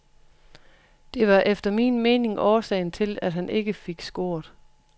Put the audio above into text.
Det var efter min mening årsagen til at han ikke fik scoret.